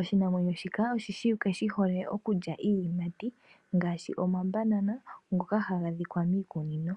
Oshinamwenyo shika ohashi ulike shi hole okulya iiyimati ngaashi omabanana ngoka haga adhika miikunino.